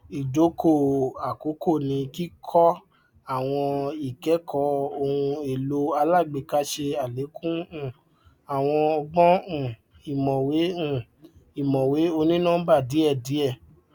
idokò àkókò ní kíkọ àwọn ikẹkọ ohun èlò alágbèéká ṣe alékún um àwọn ọgbọn um ìmọwé um ìmọwé onínọmbà díẹdíẹ